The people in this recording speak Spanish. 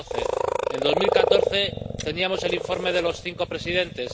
2012. En 2014 teníamos el informe de los cinco presidentes.